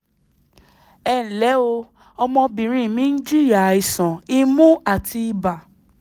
ẹ ǹlẹ́ o ọmọbìnrin mi ń jìyà àìsàn imú àti ibà